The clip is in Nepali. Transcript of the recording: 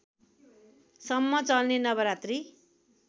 सम्म चल्ने नवरात्रि